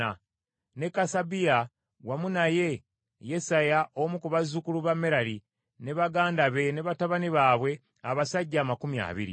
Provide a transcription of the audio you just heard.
ne Kasabiya, wamu naye Yesaya omu ku bazzukulu ba Merali, ne baganda be ne batabani baabwe, abasajja amakumi abiri.